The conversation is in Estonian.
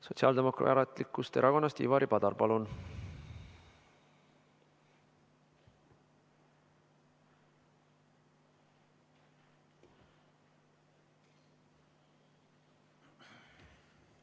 Sotsiaaldemokraatlikust Erakonnast Ivari Padar, palun!